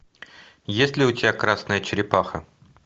есть ли у тебя красная черепаха